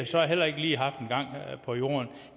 så heller ikke lige haft en gang på jorden